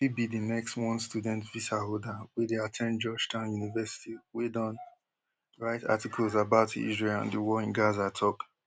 i fit be di next one student visaholder wey dey at ten d georgetown university wey don write articles about israel and di war in gaza tok